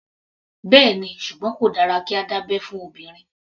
Bẹ́ẹ̀ni, ṣùgbọ́n kò dára kí a dá abẹ́ fún obìnrin.